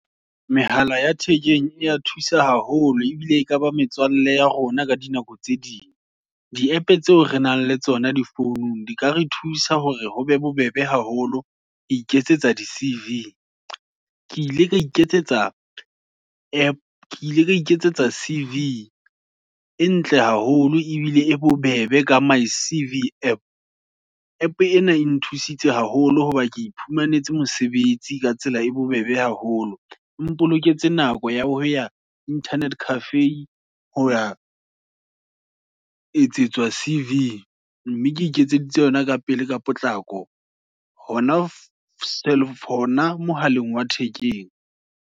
Mehala ya thekeng, e thusa haholo, ebile e ka ba ya rona, ka dinako tse ding, di App tseo re nang le tsona di founung, di ka re thusa hore ho be bobebe haholo, ho iketsetsa di-C_V, ke ile ra iketsetsa C_V, e ntle haholo, ebile e bobebe ka my C_V App. App ena e nthusitse haholo, hoba ke iphumanetseng mosebetsi ka tsela e bobebe haholo. E mpoloketse nako, ya hoya Internet Cafe, hoya etsetswa C_V, mme ke iketseditse yona, ka pele ka potlako hona mohaleng wa thekeng.